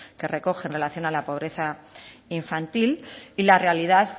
que recoge en relación a la pobreza infantil y la realidad